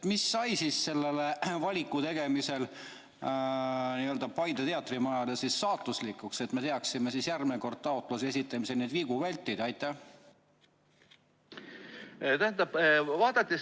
Mis sai selle valiku tegemisel Paide teatrimajale saatuslikuks, et me teaksime järgmine kord taotluse esitamisel neid vigu vältida?